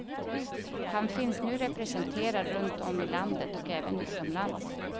Han finns nu representerad runt om i landet och även utomlands.